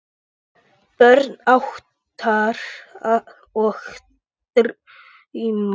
Börn ástar og drauma